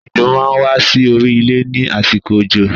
Ejò máa wà sí orí ilé ni àsìkò òjò